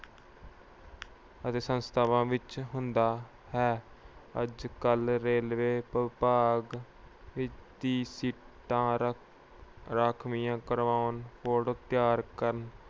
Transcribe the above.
ਅਤੇ ਸੰਸਥਾਵਾਂ ਵਿੱਚ ਹੁੰਦਾ ਹੈ। ਅੱਜ-ਕੱਲ੍ਹ ਰੇਲਵੇ ਵਿਭਾਗ ਵਿੱਚ ਸੀਟਾਂ ਰਖ ਅਹ ਰਾਖਵੀਆਂ ਕਰਵਾਉਣ, record ਤਿਆਰ ਕਰਨ